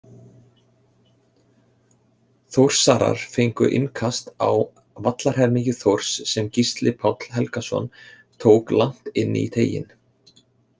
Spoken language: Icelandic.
Þórsarar fengu innkast á vallarhelmingi Þórs sem Gísli Páll Helgason tók langt inn í teiginn.